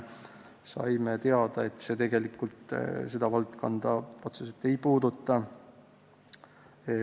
Saime teada, et eelnõu seda valdkonda otseselt ei puuduta.